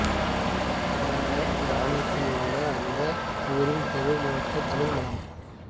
இந்த கிராமத்தில் உள்ள அந்த ஊரின் தெரு முழுக்க தமிழ்மணம்